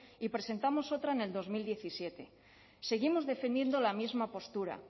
y presentamos otra en el dos mil diecisiete seguimos defendiendo la misma postura